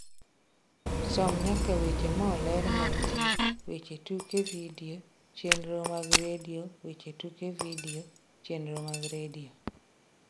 som nyaka weche moler mantie weche tuke vidio chenro mag Redio weche tuke vidio chenro mag redio